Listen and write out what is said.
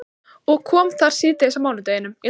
Og kom þar síðdegis á mánudeginum.